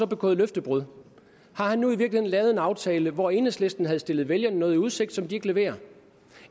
begået løftebrud har han nu i virkeligheden lavet en aftale hvor enhedslisten havde stillet vælgerne noget i udsigt som de ikke leverer